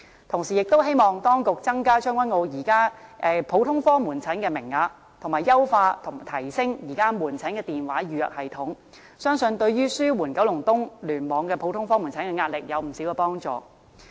同時，亦希望當局增加將軍澳現時普通科門診的名額，以及優化和提升現有的門診電話預約系統，相信對於紓緩九龍東聯網的普通科門診的壓力會有所幫助。